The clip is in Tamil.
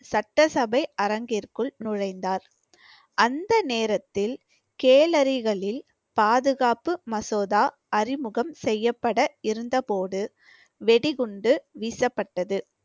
சட்டசபை அரங்கிற்குள் நுழைந்தார். அந்த நேரத்தில் கேலரிகளில் பாதுகாப்பு மசோதா அறிமுகம் செய்யப்பட இருந்தபோது வெடிகுண்டு வீசப்பட்டது